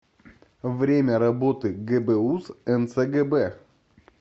время работы гбуз нцгб